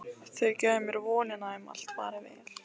Þau gefa mér vonina um að allt fari vel.